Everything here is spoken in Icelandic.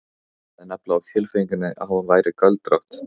Ég hafði nefnilega á tilfinningunni að hún væri göldrótt.